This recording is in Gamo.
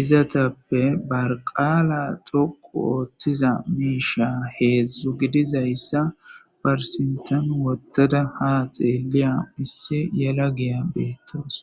izatappe barqaala xoqu oottiza miisha heedzdzu gidizayssa barsintan wottada haa xeeliya isse yela giya beettoos